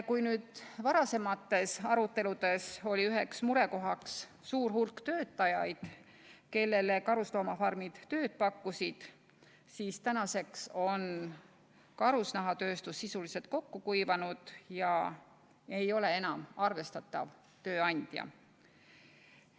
Kui varasemates aruteludes oli üks murekoht suur hulk töötajaid, kellele karusloomafarmid tööd pakkusid, siis tänaseks on karusnahatööstus sisuliselt kokku kuivanud, see ei ole enam arvestatav tööandja.